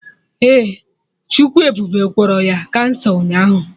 Ee, Chukwu ebube gwọrọ ya kansa ụnyaahụ